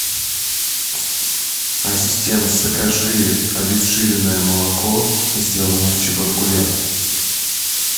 ассистент закажи обезжиренное молоко сделанное в чебаркуле